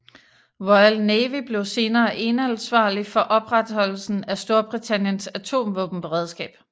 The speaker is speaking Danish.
Royal Navy blev senere eneansvarlig for opretholdelsen af Storbritanniens atomvåbenberedskab